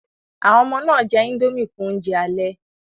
Àwọn ọmọ náà jẹ indomie fún oúnjẹ alẹ́